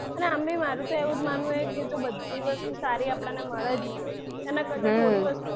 અને આમ બી મારું તો એવું માનવું છે જો કે બધી વસ્તુ સારી આપડાને મળે જ નહીં એનાં હમ કરતાં થોડી વસ્તુ,